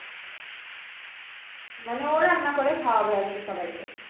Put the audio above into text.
মানে ও রান্না করে খাওয়াবে আরকি সবাইকে